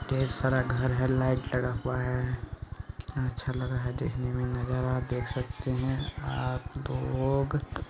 ढेर सारा घर है लाइट लगा हुआ है कितना अच्छा लग रहा है देखने मे नजारा देख सकते आप लोग।